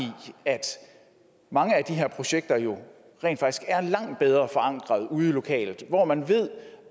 at mange af de her projekter jo rent faktisk er langt bedre forankret ude lokalt hvor man ved